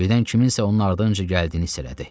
Birdən kimsənin onun ardınca gəldiyini hiss elədi.